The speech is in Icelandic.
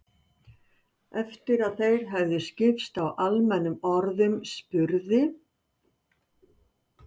Eftir að þeir höfðu skipst á almennum orðum spurði